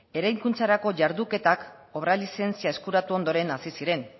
eraikuntzarako jarduketak obra lizentzia eskuratu ondoren hasi ziren